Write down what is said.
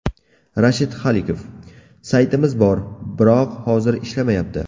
Rashid Xoliqov: Saytimiz bor, biroq hozir ishlamayapti.